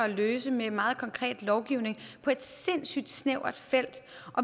at løse med meget konkret lovgivning på et sindssyg snævert felt